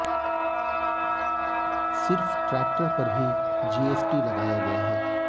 सिर्फ टै्रक्टर पर ही जीएसटी लगाया गया है